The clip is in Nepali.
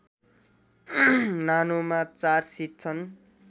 नानोमा चार सिट छन्